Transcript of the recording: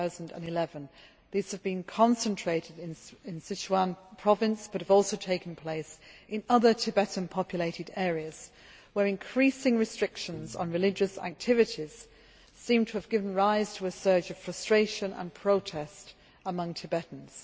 2011. These have been concentrated in Sichuan province but have also taken place in other Tibetan populated areas where increasing restrictions on religious activities seem to have given rise to a surge of frustration and protest among Tibetans.